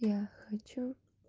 я хочу